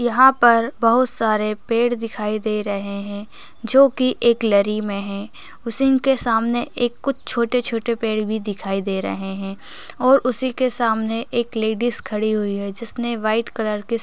यहाँ पर बहुत सारे पेड़ दिखाई दे रहें हैं जो की एक लरी में हैं उसी के सामने एक कुछ छोटे-छोटे पेड़ दिखाई दे रहें हैं और उसी के सामने एक लेडिस भी खड़ी हुई है जिसने वाइट कलर की --